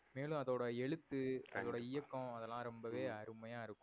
மேலும் அதோட எழுத்து, அதோட இயக்கம் அதுலாம் ரொம்பவே அருமையா இருக்கும்.